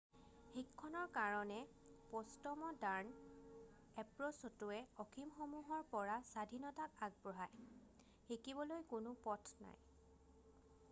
শিক্ষণৰ কাৰণে প'ষ্টম'ডাৰ্ণ এপ্ৰ'চটোয়ে অসীমসমূহৰ পৰা স্বাধীনতাক আগবঢ়াই৷ শিকিবলৈ কোনো পথ নাই৷